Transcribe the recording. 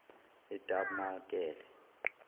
etabamakele